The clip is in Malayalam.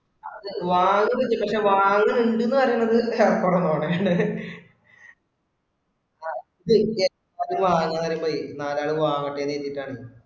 അതെ വാങ്ങണുണ്ട് പക്ഷെ വാങ്ങണുണ്ടെന്നു പറയുന്നത് കുറവാണ്. അത് വാങ്ങണത് പോയി നാലാള് വാങ്ങട്ടെന്ന് കരുതിയിട്ടാണ്.